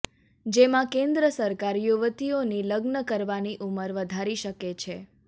જેમાં કેન્દ્ર સરકાર યુવતીઓની લગ્ન કરવાની ઉમર વધારી શકે છે